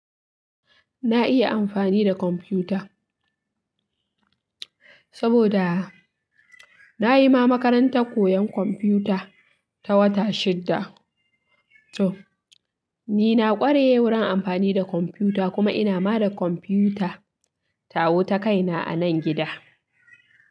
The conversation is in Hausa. Na iya amfani da kwamfuta saboda na yi ma makarantar koyon kwamfuta ta wata shidda. To, ni na ƙware wurin amfani da kwamfuta kuma ina ma da kwamfuta ta wuta kaina a nan gida.